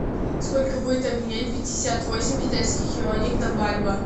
сколько будет обменять пятьдесят восемь китайских юаней на бальбоа